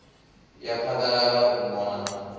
ya phaḓalala u mona na